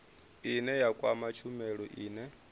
ine ya kwama tshumelo ine